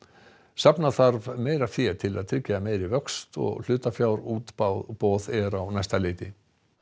safna þarf meira fé til að tryggja meiri vöxt og hlutafjárútboð er á næsta leiti